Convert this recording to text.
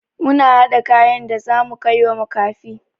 Muna haɗa kayan da zamu kaiwa makafi.